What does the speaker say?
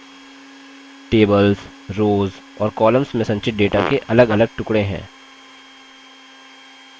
tables rows और columns में संचित data के अलगअलग टुकड़े हैं